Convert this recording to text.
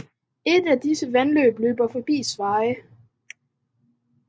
Et af disse vandløb løber forbi Sveje